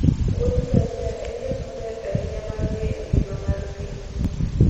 muodh ngamia en yo maber ahinya mar ng'eyo ngima mar thim.